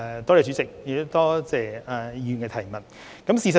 代理主席，多謝議員提出補充質詢。